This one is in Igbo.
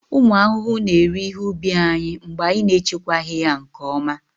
ụmụ ahụhụ na-eri ihe ubi anyị mgbe anyị na-echekwaghị ya nke ọma